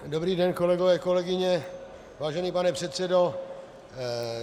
Dobrý den, kolegové, kolegyně, vážený pane předsedo.